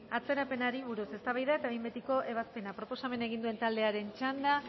atzerapenari buruz eztabaida eta behin betiko ebazpena proposamena egin duen taldearen txanda